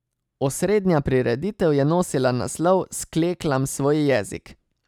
Osrednja prireditev je nosila naslov Skleklam svoj jezik.